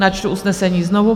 Načtu usnesení znovu.